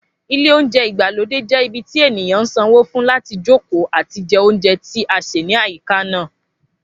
Ilé oúnjẹ ìgbàlódé je ibi tí ènìyàn sanwó fún láti jókòó àti jẹ oúnjẹ tí a sè ní àyíká náà